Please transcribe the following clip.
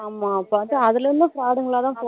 ஆமா பாத்தா அதுலயுமே fraud ங்களா தான் போறோமோ